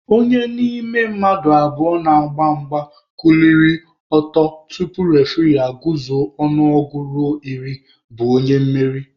Onye n'ime mmadụ abụọ na-agba mgba kuliri ọtọ tupu refuree aguzuo ọnụọgụ ruo iri bụ onye mmeri